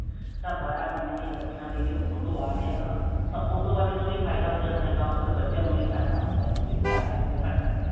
ਤਾਂ ਬਾਰਾਂ ਕੁੜੀਆਂ ਲਈ ਕੱਠਿਆਂ ਲਈ ਜੇ auto ਆ ਰਿਹਾ ਤਾਂ auto ਵਾਲੇ ਨੂੰ ਵੀ ਫਾਇਦਾ ਹੋ ਜਾਂਦਾ ਬੱਚਿਆਂ ਨੂੰ ਵੀ ਫਾਇਦਾ ਹੁੰਦਾ ਜਿਹੜੇ charges ਨੇ ਉਹ ਘੱਟ ਨੇ